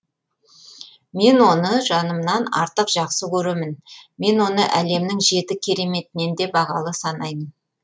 мен оны жанымнан артық жақсы көремін мен оны әлемнің жеті кереметінен де бағалы санаймын